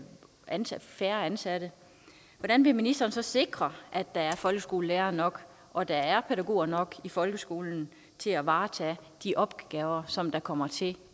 ansatte færre ansatte hvordan vil ministeren så sikre at der er folkeskolelærere nok og at der er pædagoger nok i folkeskolen til at varetage de opgaver som der kommer til